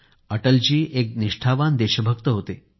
अटलजी एक निष्ठावान देशभक्त होते